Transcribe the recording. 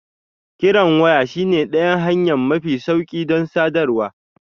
Kiran waya shine ɗayan hanya mafi sauƙi don sadarwa.